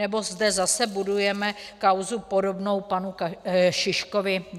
Nebo zde zase budujeme kauzu podobnou panu Šiškovi?